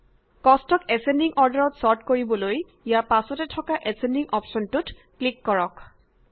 কষ্টক ascending অৰ্ডাৰত sort কৰিবলৈ ইয়াৰ পাছতে থকা এচছেন্ডিং অপশ্যনটোত ক্লিক কৰক